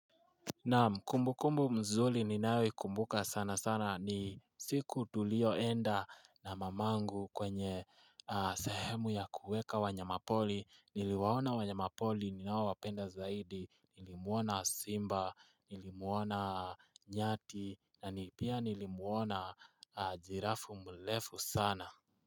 Naam kumbukumbu zuri ninayo ikumbuka sana sana ni siku tulio enda na mamangu kwenye sahemu ya kueka wanyamapori niliwaona wanyamapori ninaowapenda zaidi nilimuona simba nilimuona nyati na pia nilimuona jirafu mrefu sana.